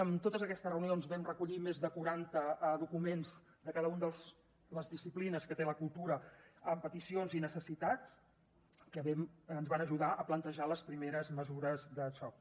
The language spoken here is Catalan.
en totes aquestes reunions vam recollir més de quaranta documents de cada una de les disciplines que té la cultura amb peticions i necessitats que ens van ajudar a plantejar les primeres mesures de xoc